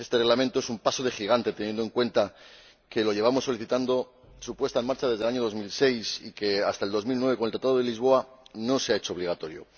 Este Reglamento es un paso de gigante teniendo en cuenta que llevamos solicitando su puesta en marcha desde el año 2006 y que hasta el 2009, con el Tratado de Lisboa, no se ha hecho obligatorio.